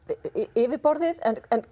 yfirborðið en